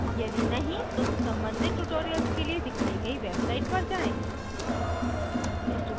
यदि नहीं तो संबंधित tutorials के लिए दिखाई गई website पर जाएँ